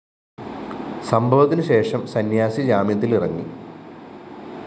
സംഭവത്തിനു ശേഷം സന്യാസി ജാമ്യത്തിലിറങ്ങി